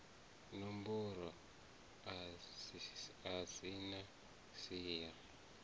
matombo a si na siya